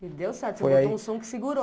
E deu certo, você botou um som que segurou.